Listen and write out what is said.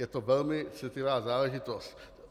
Je to velmi citlivá záležitost.